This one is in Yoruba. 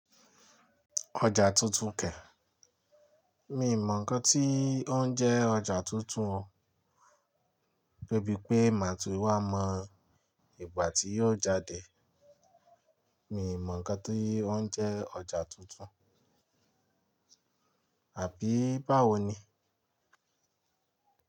Ọjà tuntun kẹ. Mi ò mọ ǹkan tí ó ń jẹ́ ọjà tuntun o, de bí pé màá tún wá mọ ìgbà tí yóò jáde. Mi ò mọ ǹkan tí ó ń jẹ́ ọjà tuntun, àbí báwo ni?